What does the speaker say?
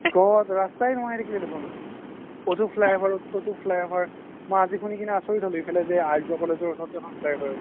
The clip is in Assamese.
god ৰাস্তায়ে নোহোৱা হয় থাকিলে দেখুন এতো Fly over ততো Fly over মই আজি শুনি কিনে আচৰিত হ্'লো আৰ্জ্যো college ৰ ওচৰতো এখ্ন Fly over আহিব